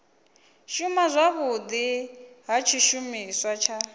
shuma zwavhudi ha tshishumiswa tsha